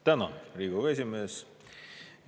Tänan, Riigikogu esimees!